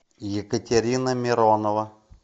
екатерина миронова